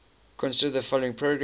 consider the following program